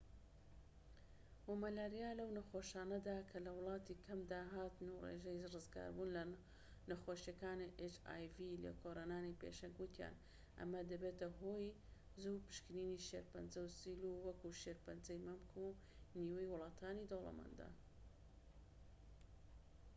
لێکۆلەرانی پێشەنگ وتیان ئەمە دەبێتە هۆی زوو پشکنینی شێرپەنجە و سیل و hiv و مەلاریا لەو نەخۆشانەدا کە لە ولاتانی کەم داهاتن و ڕێژەی ڕزگاربوون لە نەخۆشیەکانی وەکو شێرپەنجەی مەمك نیوەی ولاتانی دەوڵەمەندە